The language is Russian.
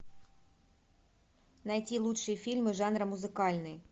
найти лучшие фильмы жанра музыкальный